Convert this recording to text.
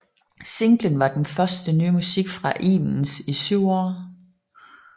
Singlen var det første nye musik fra Ibens i syv år